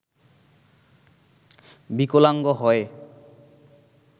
বিকলাঙ্গ হয়